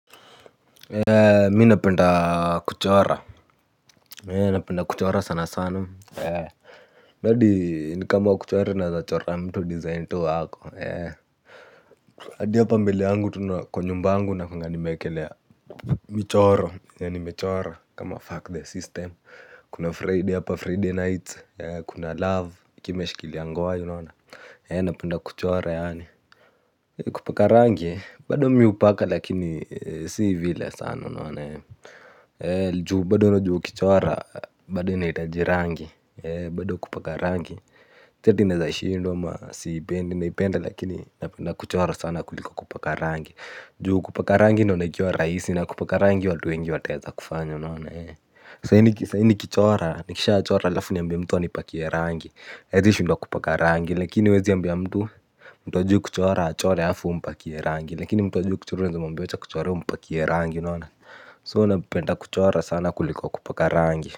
Mi napenda kuchora napenda kuchora sana sana sana hadi ni kama kuchora naweza chora mtu design tu ako hadi hapa mbele yangu tu na kwa nyumba yangu nakuanga nimeekelea michoro yenye nimechora kama fuck the system kuna friday apa friday nights kuna love kimeshilia ngwai unaona napenda kuchora yaani kupaka rangi bado mi hupaka lakini si vile sana unaona si juu bado najua ukichora bado inahitaji rangi, si eti nashindwa au siipendi, naipenda lakini napenda kuchora zaidi kuliko kupaka rangi. Kupaka rangi naona ikiwa rahisi na kupaka rangi watu wengi wataweza kufanya unaona ee. Sahi nikichora nikishachora alafu niambie mtu anipakie rangi hawezi shindwa kupaka rangi kakini huwezi ambia mtu. Mtu hajui kuchora achore alafu umpakie rangi lakini mtu hajui kichora ya mbiocha kuchora mpakiye rangi nana So napenda kuchora sana kuliko kupaka rangi.